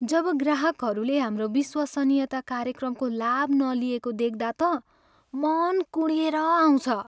जब ग्राहकहरूले हाम्रो विश्वासनीयता कार्यक्रमको लाभ नलिएको देख्दा त मन कुँडिएर आउँछ।